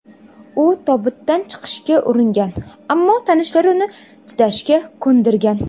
U tobutdan chiqishga uringan, ammo tanishlari uni chidashga ko‘ndirgan.